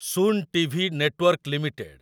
Sun TV network limited